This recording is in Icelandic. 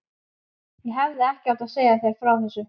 Ég hefði ekki átt að segja þér frá þessu